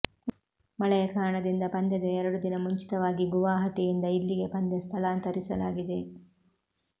ಮಳೆಯ ಕಾರಣದಿಂದ ಪಂದ್ಯದ ಎರಡು ದಿನ ಮುಂಚಿತವಾಗಿ ಗುವಾಹಟಿಯಿಂದ ಇಲ್ಲಿಗೆ ಪಂದ್ಯ ಸ್ಥಳಾಂತರಿಸಲಾಗಿದೆ